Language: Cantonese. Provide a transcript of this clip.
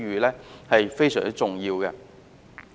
這是非常重要的。